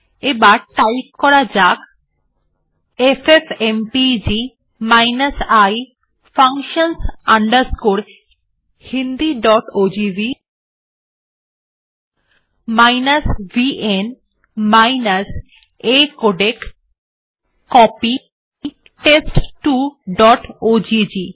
এবার টাইপ করা যাক FFmpeg i functions hindiogv vn acodec copy test2ওজিজি